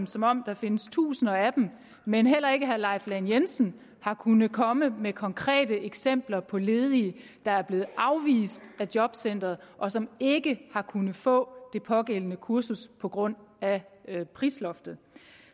som om der findes tusinder af dem men heller ikke herre leif lahn jensen har kunnet komme med konkrete eksempler på ledige der er blevet afvist af jobcenteret og som ikke har kunnet få det pågældende kursus på grund af prisloftet